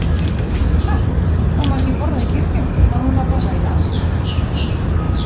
Huh, það má ekki borða í kirkjum, má núna borða í lest?